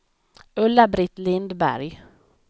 Ulla-Britt Lindberg